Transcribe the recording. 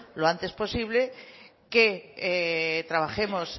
lo antes posible que trabajemos